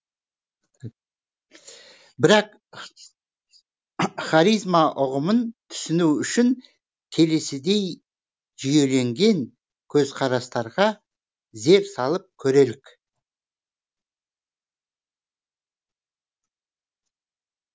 бірақ харизма ұғымын түсіну үшін келесідей жүйеленген көз қарастарға зер салып көрелік